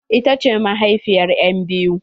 Ita ce mahaifiyar en biyu?